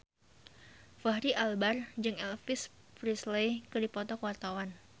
Fachri Albar jeung Elvis Presley keur dipoto ku wartawan